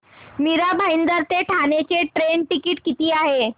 मीरा भाईंदर ते ठाणे चे train ticket किती आहे